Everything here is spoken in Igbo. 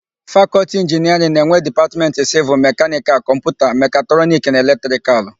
Fakọlti Inginiarịn na-enwe Dipatmentị Sịvịl, Mekanịkal, Kọmputa, Mekatrọniki na Elektrikalụ.